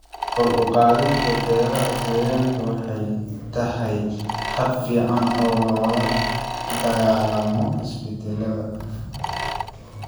Kor u qaadida beeraha deegaanka waxay tahay hab fiican oo loola dagaallamo isbedelada.